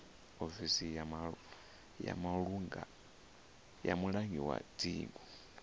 ofisi ya mulangi wa dzingu